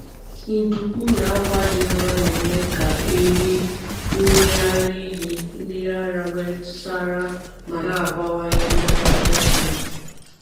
Nduku na akwa dị nro na-eme ka ehi mmiri ara ehi mmiri ara nwee ntụsara ma na-abawanye mmiri ara ehi.